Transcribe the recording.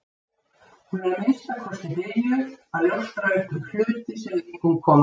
Hún er að minnsta kosti byrjuð að ljóstra upp um hluti sem engum koma við.